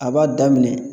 A b'a daminɛ